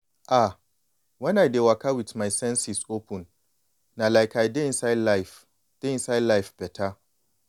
ah when i dey waka with my senses open na like i dey inside life dey inside life beta.